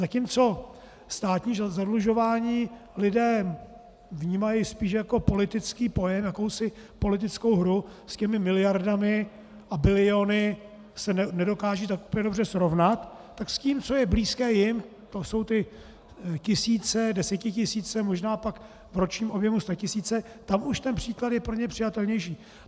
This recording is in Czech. Zatímco státní zadlužování lidé vnímají spíše jako politický pojem, jakousi politickou hru, s těmi miliardami a biliony se nedokážou tak úplně dobře srovnat, tak s tím, co je blízké jim, to jsou ty tisíce, desetitisíce, možná pak v ročním objemu statisíce, tam už ten příklad je pro ně přijatelnější.